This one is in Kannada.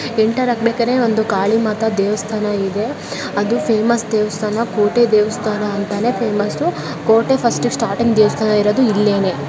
ಎಂಟರ್ ಆಗಬೇಕಾರೆ ಒಂದು ಗಾಳಿ ಮಾತ್ರ ದೇವಸ್ಥಾನ ಇದೆ. ಅದು ಫೇಮಸ್ ದೇವಸ್ಥಾನ ಕೋಟೆ ದೇವಸ್ಥಾನ ಅಂತಾನೆ ಫೇಮಸ್ಸು . ಕೋಟೆ ಫಸ್ಟ್ ಸ್ಟಾರ್ಟಿಂಗ್ ದೇವಸ್ಥಾನ ಇರೋದು ಇಲ್ಲೇನೆ.